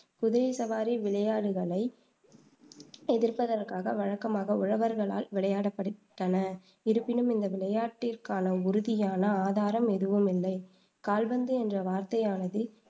குதிரை சவாரி விளையாடுகளை எதிர்ப்பதற்காக வழக்கமாக உழவர்களால் விளையாடப்பட்டன. இருப்பினும் இந்த விளையாட்டிற்கான உறுதியான ஆதாரம் எதுவும் இல்லை, கால்பந்து என்ற வார்த்தையானது